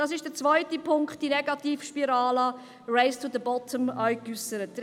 Dies ist der zweite Punkt, diese Negativspirale, das «Race to the bottom», das bereits genannt worden ist.